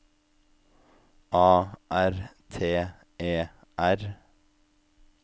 A R T E R